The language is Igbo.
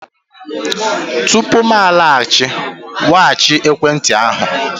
tupu m alaghachi, weghachi ekwentị ahụ!